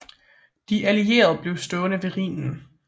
De allierede blev stående ved Rhinen